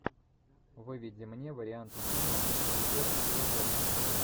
выведи мне варианты фильмов с актером хью джекманом